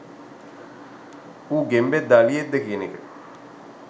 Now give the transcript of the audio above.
ඌ ගෙම්බෙක්ද අලියෙක්ද කියන එක